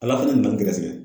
ALA fana nana n gɛrɛsɛgɛ.